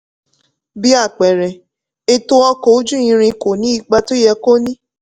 bí àpẹẹrẹ ètò ọkọ̀ ojú irin kò ní ipa tó yẹ kó ní.